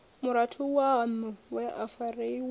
murathu waṋu we a farelwa